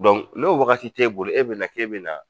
n'o wagati t'e bolo e bɛ na k'e bɛ na.